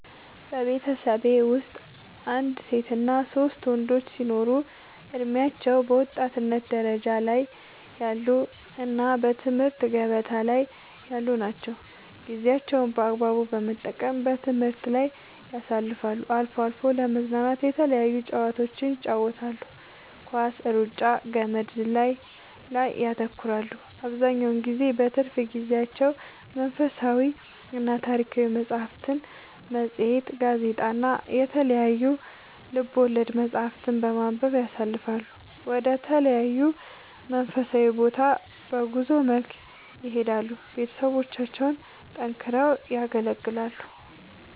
በቤተሠቤ ወስጥ አንድ ሴትና ሶስት ወንዶች ሲኖሩ እድሜያቸው በወጣትነት ደረጃ ላይ ያሉ እና በትምህርት ገበታ ላይ ያሉ ናቸው ጌዜያቸውን በአግባቡ በመጠቀም በትምህርት ላይ ያሳልፋሉ አልፎ አልፎ ለመዝናናት የተለያዩ ጨዋታዎችን ይጫወታሉ ኳስ ,እሩጫ ,ገመድ ዝላይ ላይ ያተኩራሉ አብዛኛውን ጊዜ በትርፍ ጊዜያቸው መንፈሳዊና ታሪካዊ መፅሐፍትን ,መፅሄት ,ጋዜጣ እና የተለያዩ ልቦለድ መፅሐፍትን በማንበብ ያሣልፈሉ ወደ ተለያዩ መንፈሳዊ ቦታ በጉዞ መልክ ይሄዳሉ ቤተሠቦቻቸውን ጠንክረው ያገለግላሉ